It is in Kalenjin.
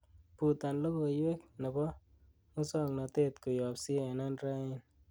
butan logoiwek nebo musong'notet koyob c.n.n. raini